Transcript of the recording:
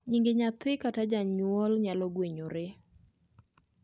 Nyinge nyathi kata janyuol nyalo gwenyore